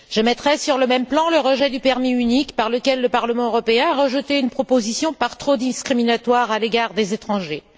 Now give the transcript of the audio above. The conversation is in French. Je mettrai sur le même plan le rejet du permis unique, par lequel le Parlement européen rejetait une proposition par trop discriminatoire à l'égard des étrangers.